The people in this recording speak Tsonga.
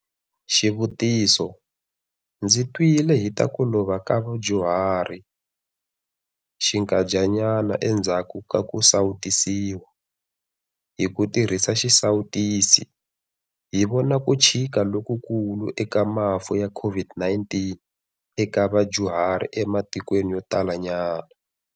Xivutiso- Ndzi twile hi ta ku lova ka vadyuhari xinkandyana endzhaku ka ku sawutisiwa. Hi ku tirhisa xisawutisi, hi vona ku chika lokukulu eka mafu ya COVID-19 eka vadyuhari ematikweni yo talanyana.